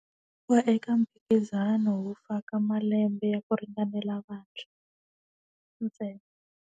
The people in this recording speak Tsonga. Ku va eka mphikizano wu faka malembe ya ku ringanela vantshwa, ntsena.